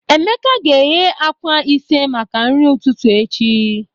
Emeka ga-eghe akwa ise maka nri ụtụtụ echi.